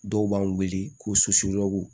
Dɔw b'an weele ko